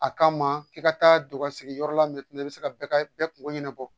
A kama f'i ka taa don ka segin yɔrɔ la i bɛ se ka bɛɛ ka bɛɛ kungo ɲɛnabɔ